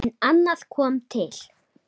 En annað kom til.